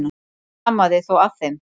Ekkert amaði þó að þeim.